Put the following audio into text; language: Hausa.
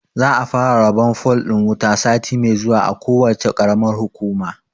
Za a fara rabon fol ɗin wuta sati mai zuwa a kowacce ƙaramar hukuma.